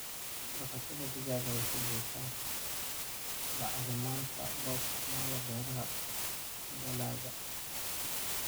Dhaqashada digaaga waxay bixisaa bacriminta loo isticmaalo beeraha dalagga.